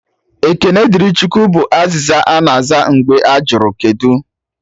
"Ekene dịrị Chukwu" bụ azịza ana aza mgbe ajụrụ "kedụ"